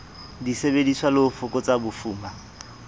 disebediswa le ho fokotsa bofuma